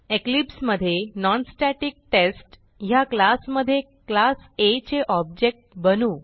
Eclipse मधे non static test ह्या क्लासमधे क्लास आ चे ऑब्जेक्ट बनवू